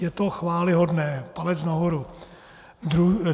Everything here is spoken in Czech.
Je to chvályhodné, palec nahoru.